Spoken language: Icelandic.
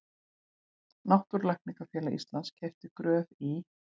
Náttúrulækningafélag Íslands keypti Gröf í